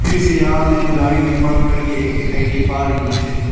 इस या में गाड़ी भी पार्क करके एक दिखाई दे पा रही है।